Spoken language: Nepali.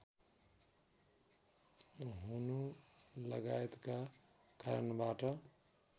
हुनुलगायतका कारणबाट